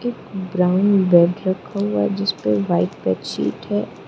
एक brown bed रखा हुआ जिसपे व्हाइट बेड शीट है।